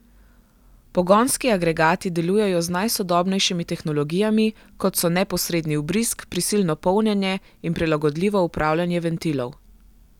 Pogonski agregati delujejo z najsodobnejšimi tehnologijami, kot so neposredni vbrizg, prisilno polnjenje in prilagodljivo upravljanje ventilov.